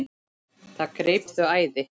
Það greip þau æði.